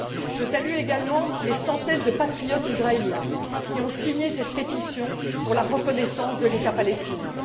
Je salue également les centaines de patriotes israéliens qui ont signé cette pétition pour la reconnaissance de l'État palestinien.